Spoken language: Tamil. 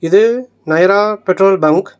இது நயரா பெட்ரோல் பங்க் .